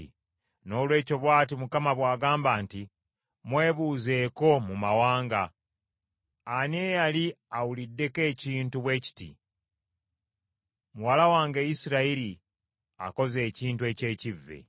Noolwekyo bw’ati Mukama ng’agamba nti, “Mwebuuzeeko mu mawanga. Ani eyali awuliddeko ekintu bwe kiti? Muwala wange Isirayiri akoze ekintu eky’ekivve.